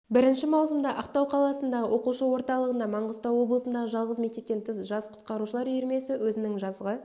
бірінші маусымда ақтау қаласындағы оқушы орталығында маңғыстау облысындағы жалғыз мектептен тыс жас құтқарушылар үйірмесі өзінің жазғы